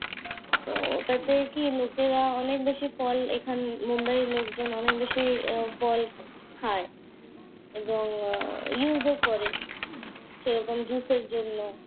ও ওটাতে কি লোকেরা অনেক বেশি ফল এখান মুম্বাইয়ের লোকজন অনেক বেশি আহ ফল খায় এবং use ও করে। সেরকম জুসের জন্য।